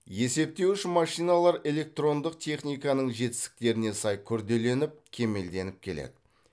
есептеуіш машиналар электрондық техниканың жетістіктеріне сай күрделеніп кемелденіп келеді